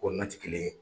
Ko na tɛ kelen ye